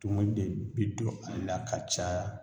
Tumu de be don ala ka caya